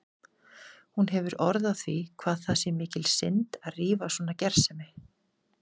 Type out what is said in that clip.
Hún hefur orð á því hvað það sé mikil synd að rífa svona gersemi.